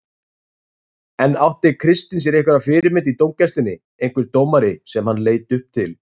En átti Kristinn sér einhverja fyrirmynd í dómgæslunni, einhver dómari sem hann leit upp til?